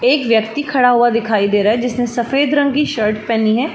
एक व्यक्ति खड़ा हुआ दिखाई दे रहा है जिसने सफ़ेद रंग की शर्ट पेहनी है।